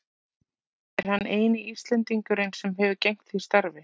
Er hann eini Íslendingurinn sem hefur gegnt því starfi.